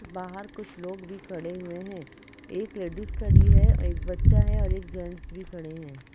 बाहर कुछ लोग भी खड़े हुए हैं । एक लेडीस खड़ी है एक बच्चा है और एक जेंट्स भी खड़े हैं ।